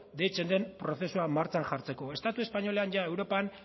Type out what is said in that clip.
deitzen den prozesua martxan jartzeko estatu espainolean europan